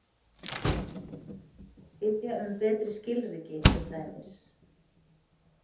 Biðja um betri skilríki, til dæmis.